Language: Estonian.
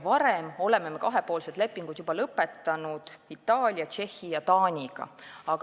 Varem oleme kahepoolsed lepingud lõpetanud Itaalia, Tšehhi ja Taaniga.